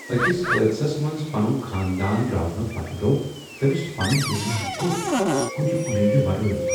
أکس حٲدثس منٛز پَنُن خاندان راونہٕ پتہٕ گو تٔمِس پنُن دُنیا گوٹ کُنہ امید روٚس ۔